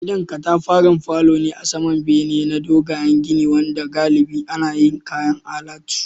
Gidan katafaren falo ne a saman bene na dogayen gini wanda galibi ana yin kayan alatu